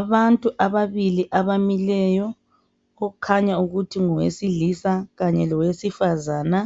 Abantu ababili abamileyo kukhanya ukuthi ngowesilisa kanye lowesifazana.